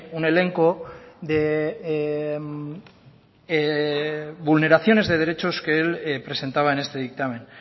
un elenco de vulneraciones de derechos que él presentaba en este dictamen